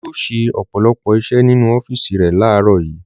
Olú yóò ṣe ọ̀pọ̀lọpọ̀ iṣẹ́ nínú ọ́fíísì rẹ̀ láàárọ̀ yìí.